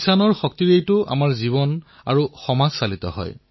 কৃষকৰ শক্তিৰ পৰা আমাৰ জীৱন আমাৰ সমাজ পৰিচালিত হয়